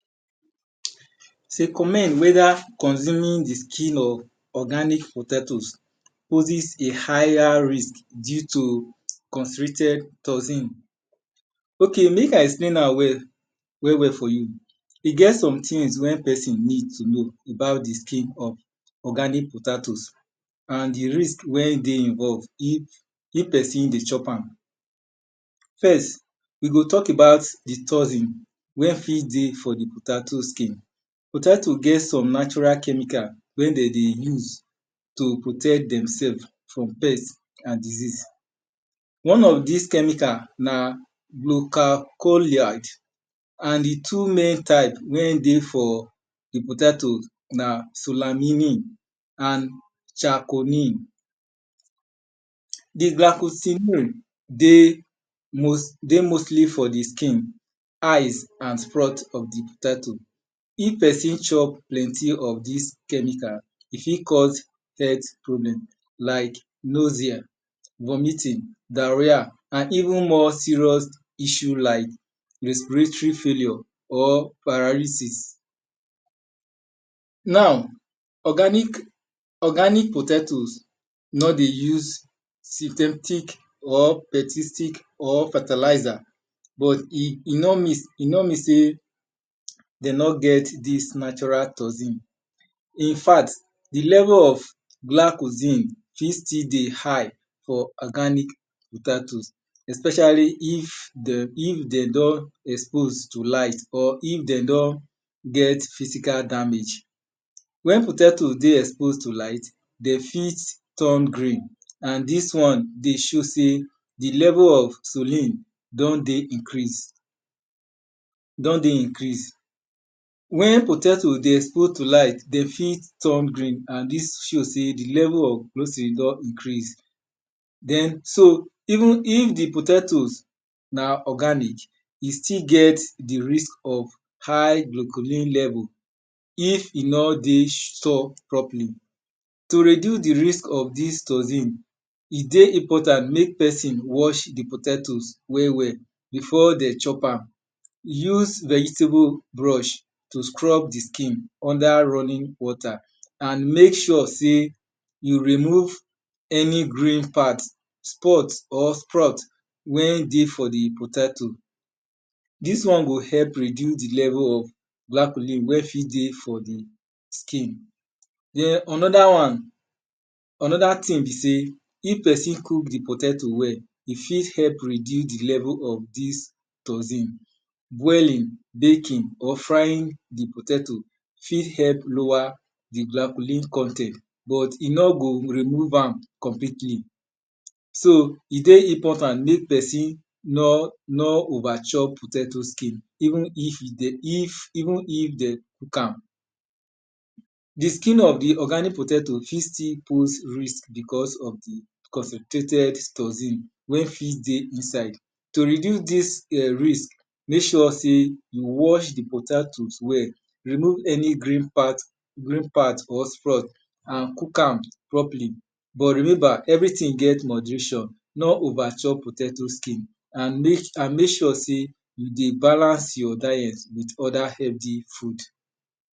Commend weda consuming di skin of organic potato poses a higher risk due to constricted toxin. Ok mek I explain am well well for you. E get some things wey pesin need to know about di skin of organic potato and di risk wen dey involve if pesin dey chop am. We go talk about di toxin wey fit dey for di potato skin. Potato get some natural chemical wen dem dey use to protect demselves from pest and dieases. One of dis chemical na glocalcholide and di two main type wey dey for di potato na solamin and chacomin. Di glochosilin dey mostly for di skin, eyes and fron of di potato. If pesin chop plenty of dis chemical, e fit cause health problem like nozia, vomiting diarrhea and even more issue like respiratory failure or paralysis. Now organic potatoes nor dey use thick or persistic or fertilizer but e nor mean sey de nor get dis natural toxin. In fact di level of glachozin still dey high especially if de don expose to light or if de don get physical damage. Wen potato dey expose to light, de fit turn green and dis one dey show sey di level of sulin don dey increase. Wen potato dey put toi light, de fit turn green and dis show sey di level of glccine done increase. So even if di potato na organic, e still get di risk of high glochorin level if e nor dey properly. To reduce di risk of dis toxin, e dey important mek pesin wash di potato well well before dem chop am. Use v egetable brush to scrub di skin under running water and mek sure sey we remove any grave part or sprut wen dey for di potato. Dis won go help reduce di level of black lim wen fit dey for di skin. Onoda wan onoda thing be sey if pesin cok di potato well, e ft help reduce di level of dis toxin. Boiling, bakin or frying of di potato fit help lower di glacholin con ten t but e nor go remove am completely. So e dey important mek pesin nor over chop potato skin even if dem cook am. Diskin of di organic potato fit still post risk because of di concentrated toxin wey fit dey inside. To reduce dis rix, mek sure sey you wash di potatoes well, remove any green part and cook am properly. But remember everything get moderation, no over chop potato skin and mek sure sey you dey balance your diet with other healthy food.